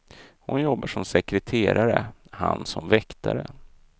Hon jobbar som sekreterare, han som väktare.